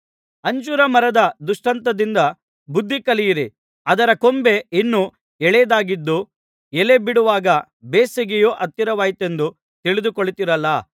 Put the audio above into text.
ಅಂಜೂರ ಮರದ ದೃಷ್ಟಾಂತದಿಂದ ಬುದ್ಧಿಕಲಿಯಿರಿ ಅದರ ಕೊಂಬೆ ಇನ್ನು ಎಳೆಯದಾಗಿದ್ದು ಎಲೆ ಬಿಡುವಾಗ ಬೇಸಿಗೆಯು ಹತ್ತಿರವಾಯಿತೆಂದು ತಿಳಿದುಕೊಳ್ಳುತ್ತೀರಲ್ಲಾ